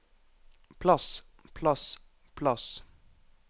plass plass plass